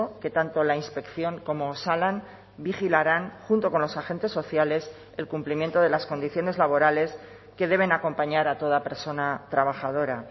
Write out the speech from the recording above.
que tanto la inspección como osalan vigilarán junto con los agentes sociales el cumplimiento de las condiciones laborales que deben acompañar a toda persona trabajadora